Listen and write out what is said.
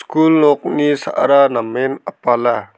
kul nokni sa·ra namen apala.